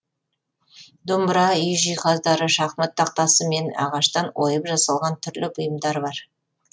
домбыра үй жиһаздары шахмат тақтасы мен ағаштан ойып жасалған түрлі бұйымдар бар